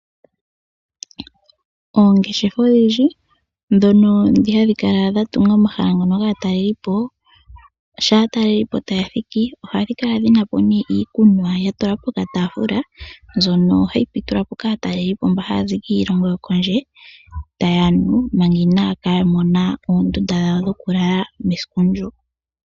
Oongeshefa odhindji dhono hadhi kala dhatunga omahala gomatalelepo sho aatalelipo taya thiki ohadhi kala dhinapo iikunwa yatulwa po kataafula mbyono hayi pitulwapo kaatalelipo mba haazi kiilongo yokondje tayanu manga inaya kamona oondundu dhawo dhokulala esiku ndyo.